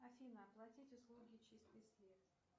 афина оплатить услуги чистый след